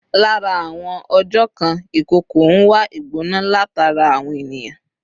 Lára àwọn ọjọ̀ kan, ìkookò ń wá ìgbona látara àwọn ènìyàn